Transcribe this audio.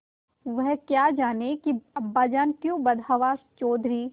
वह क्या जानें कि अब्बाजान क्यों बदहवास चौधरी